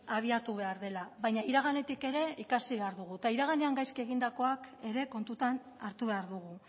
abiatu behar dela baina iraganetik ere ikasi behar dugu eta iraganean gaizki egindakoak ere kontutan hartu behar dugu